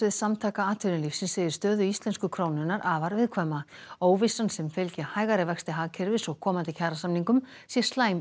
Samtaka atvinnulífsins segir stöðu íslensku krónunnar afar viðkvæma óvissan sem fylgi hægari vexti hagkerfis og komandi kjarasamningum sé slæm